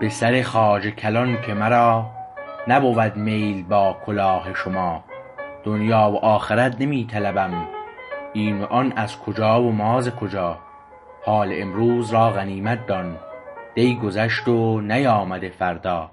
به سر خواجه کلان که مرا نبود میل با کلاه شما دنیی و آخرت نمی طلبم این و آن از کجا و ما ز کجا حال امروز را غنیمت دان دی گذشت و نیامده فردا